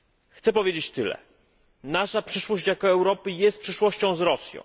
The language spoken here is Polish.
Chcę powiedzieć tyle nasza przyszłość jako Europy jest przyszłością z Rosją.